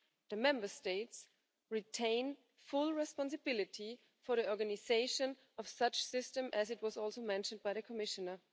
The Member States retain full responsibility for the organisation of such systems, as was also mentioned by the Commissioner.